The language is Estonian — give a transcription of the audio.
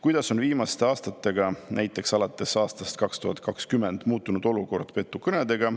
Kuidas on viimaste aastatega, näiteks alates aastast 2020, muutunud olukord petukõnedega?